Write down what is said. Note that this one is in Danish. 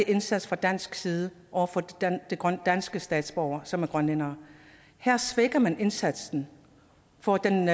indsats fra dansk side over for danske statsborgere som er grønlændere her svækker man indsatsen og den